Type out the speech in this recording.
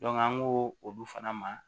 an ko olu fana ma